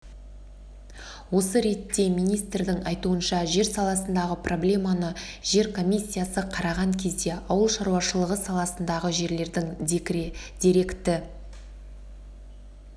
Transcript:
осы ретте министрдің айтуынша жер саласындағы проблеманы жер комиссиясы қараған кезде ауыл шаруашылығы саласындағы жерлердің деректі